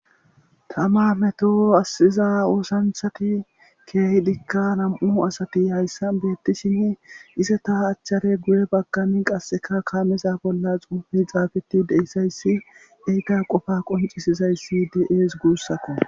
Tama meto assiza oosanthati keehi dikka nam'u asati hayssa beettishinn isata achchare guye baggani qasseka kaameza bolla xuufey xaageti deyssayssi eyta qofa qoncisizayssi de'ees guussako.